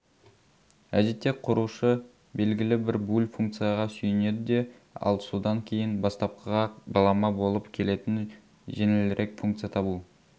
әдетте құрушы белгілі бір буль функцияға сүйенеді де ал содан кейін бастапқыға балама болып келетін жеңілірек функция табу